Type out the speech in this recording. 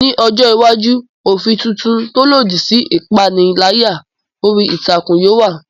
Ní ọjọ́ iwájú, òfin tuntun tó lòdì sí ìpániláyà orí ìtàkùn yóò wà.